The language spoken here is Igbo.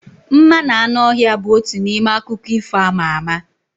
Mma na anụ ọhịa bụ otu n'ime akụkọ ifo ama ama